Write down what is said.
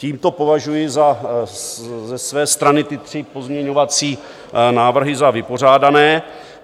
Tímto považuji ze své strany ty tři pozměňovací návrhy za vypořádané.